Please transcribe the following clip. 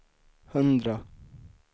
hundra